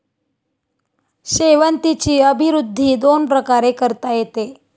शेवंतीची अभिवृद्धी दोन प्रकारे करता येते.